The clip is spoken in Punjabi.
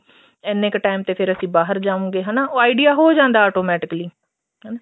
ਇੰਨੇ ਕ time ਤੇ ਫ਼ੇਰ ਅਸੀਂ ਬਾਹਰ ਜਾਵਾਂਗੇ ਹਨਾ ਉਹ idea ਹੋ ਜਾਂਦਾ ਏ automatically ਹਨਾ